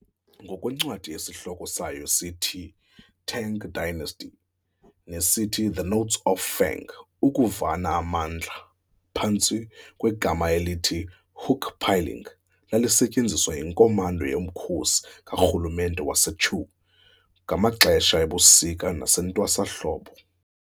Ngokwencwadi esihloko sayo sithiTang dynasty, nesithi"The Notes of Feng", ukuvana mamandla, phantsi kwegama elithi "hook pulling", lalisetyenziswa yiNkomanda yomkhosi karhulumente waseChu ngamaxesha ebusika nasentwasahlobo